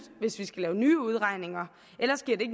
hvis vi skal lave nye udregninger ellers giver det